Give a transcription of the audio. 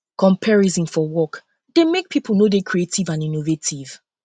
comparison for work dey make pipo no dey creative and innovative